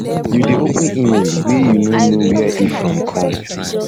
you dey open email wey you um no know where e know where e from come